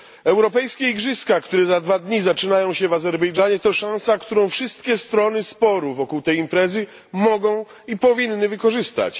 Europejskie Igrzyska, które za dwa dni zaczynają się w Azerbejdżanie, to szansa, którą wszystkie strony sporu wokół tej imprezy mogą i powinny wykorzystać.